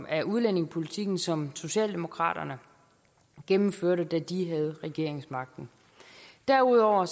af udlændingepolitikken som socialdemokraterne gennemførte da de havde regeringsmagten derudover